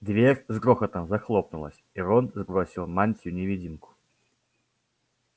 дверь с грохотом захлопнулась и рон сбросил мантию-невидимку